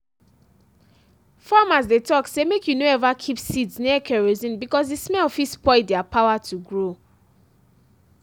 farmers dey talk say make you no ever keep seeds near kerosene because the smell fit spoil their power to grow.